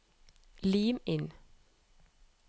Lim inn